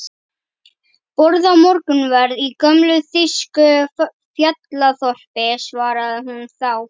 Borða morgunverð í gömlu þýsku fjallaþorpi, svaraði hún þá.